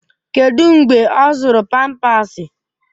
Kedụ mgbe ọ zụrụ pampasi?